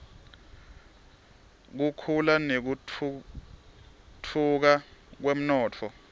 kukhula nekutfutfuka kwemnotfo